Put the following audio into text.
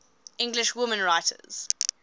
english women writers